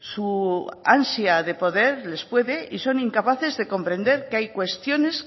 su ansia de poder les puede y son incapaces de comprender que hay cuestiones